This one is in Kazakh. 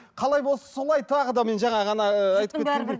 қалай болса солай тағы да мен жаңағы ыыы айтып кеткендей